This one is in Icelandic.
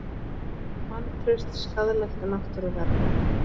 Vantraust skaðlegt náttúruvernd